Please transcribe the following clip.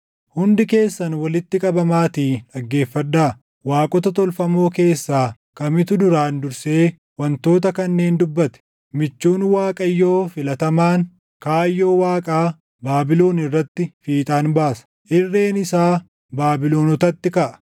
“Hundi keessan walitti qabamaatii dhaggeeffadhaa; waaqota tolfamoo keessaa kamitu duraan dursee // wantoota kanneen dubbate? Michuun Waaqayyoo filatamaan kaayyoo Waaqaa Baabilon irratti fiixaan baasa; irreen isaa Baabilonotatti kaʼa.